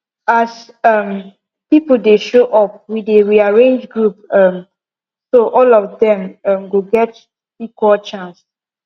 as um people dey show up we dey rearrange group um so all of them um go get equal chance